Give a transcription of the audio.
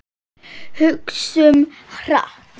Hugsum hart.